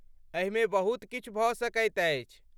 एहिमे बहुत किछु भऽ सकैत अछि।